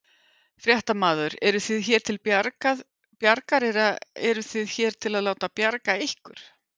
Fréttamaður: Eruð þið hér til bjargar eða eruð þið hér til að láta bjarga ykkur?